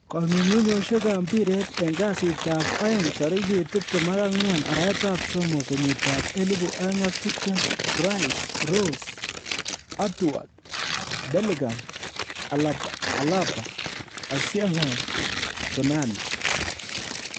kong'ung'uyosiekab mpiret en Kasitab aeng tarigit 24/03/2020: Rice, Rose, Edouard, Bellingham, Alaba, Osimhen, Tonali